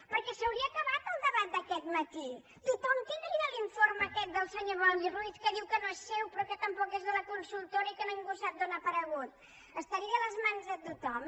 perquè s’hauria acabat el debat d’aquest matí tothom tindria l’informe aquest del senyor boi ruiz que diu que no és seu però que tampoc és de la consultora i que ningú sap d’on ha aparegut estaria a les mans de tothom